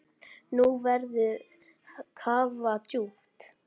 Nú verður kafað djúpt.